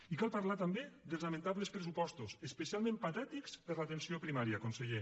i cal parlar també dels lamentables pressupostos especialment patètics per a l’atenció primària conseller